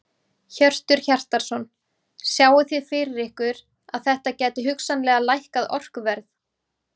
Hjörtur Hjartarson: Sjáið þið fyrir ykkur að þetta gæti hugsanlega lækkað orkuverð?